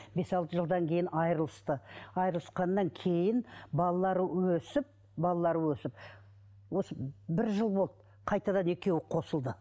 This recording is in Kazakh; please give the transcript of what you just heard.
бес алты жылдан кейін айырылысты айырылсқаннан кейін балалары өсіп балалары өсіп осы бір жыл болды қайтадан екеуі қосылды